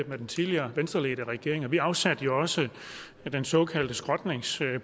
havde den tidligere venstreledede regering vi afsatte jo også den såkaldte skrotningspulje